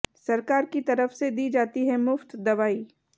सरकार की तरफ से दी जाती है मुफ्त दवाई